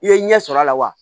I ye ɲɛ sɔrɔ a la wa